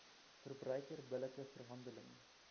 verbruiker billike verhandeling